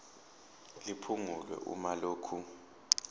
liphungulwe uma lokhu